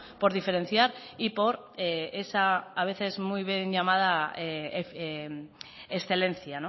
por diferenciar y por esa a veces muy bien llamada excelencia